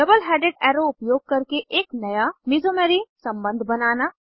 double headed arrow उपयोग करके एक नया मीसोमेरी सम्बन्ध बनाना